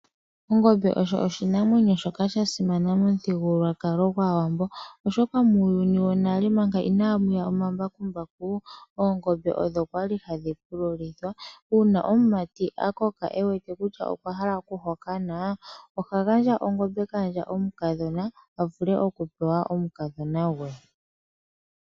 Ongombe osho oshinamwenyo shoka sha simana momuthigululwakalo gwaawambo oshoka muuyuni wonale manga inamu ya omambakumbaku oongombe odho kwali hadhi pululithwa. Uuna omumati a koka ewete kutya okwa hala oku hokanwa oha gandja ongombe kandja omukadhona a vule oku pewa omukadhona gwe.